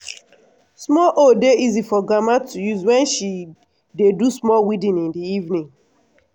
small hoe dey easy for grandma to use wen she dey do small weeding in the evening